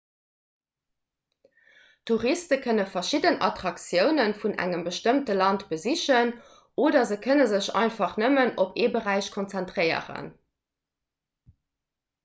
touriste kënne verschidden attraktioune vun engem bestëmmte land besichen oder se kënne sech einfach nëmmen op ee beräich konzentréieren